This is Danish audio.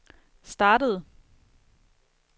startede